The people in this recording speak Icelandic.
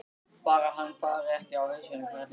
Bara hann fari ekki á hausinn, karlinn.